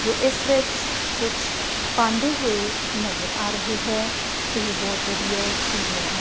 ਜੋ ਇੱਸ ਵਿੱਚ ਕੁਛ ਪਾਂਦੇ ਹੋਏ ਨਜ਼ਰ ਆ ਰਹੇ ਹੈ ਇਹ ਬਹੁਤ ਵਧੀਆ ਏਰੀਆ ਹੈ।